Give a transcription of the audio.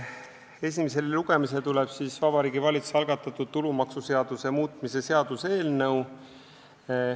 Esimesele lugemisele tuleb Vabariigi Valitsuse algatatud tulumaksuseaduse muutmise seaduse eelnõu.